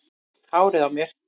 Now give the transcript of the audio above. Hárið á mér?